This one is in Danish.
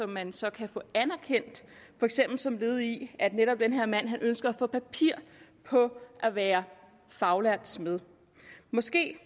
mand så kan få anerkendt for eksempel som led i at netop han ønsker at få papir på at være faglært smed måske